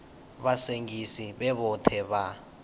vha sengisi vhe vhoṱhe vha